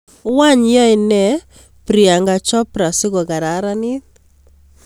Wany yaene priyanka chopra sigokararnit